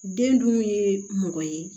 Den dun ye mɔgɔ ye